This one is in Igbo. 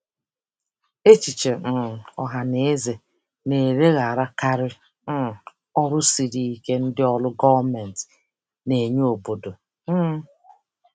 Echiche um ọha na eze na-elegharakarị um ọrụ siri ike ndị ọrụ gọọmentị na-enye n'obodo. um